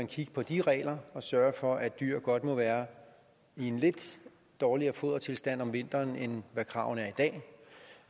kigge på de regler og sørge for at dyrene godt må være i en lidt dårligere fodertilstand om vinteren end hvad kravene